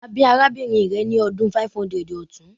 A bi arabinrin rẹ ni ọdun 500 ọtun